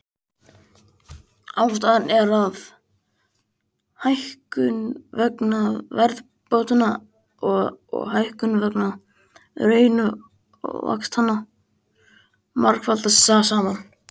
Ástæðan er að hækkun vegna verðbótanna og hækkun vegna raunvaxtanna margfaldast saman.